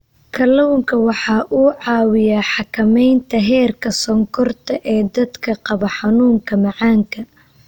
Kalluunku waxa uu caawiyaa xakamaynta heerka sonkorta ee dadka qaba xanuunka macaanka.